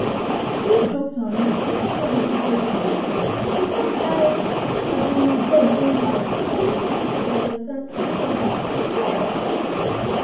if doctor and nurse fit hear wetin patient dey talk without eye um dem anyhow e go make everybody understand each other well